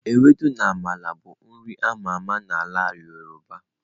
Ewedu na Amala bụ nri a ma ama na ala yoruba.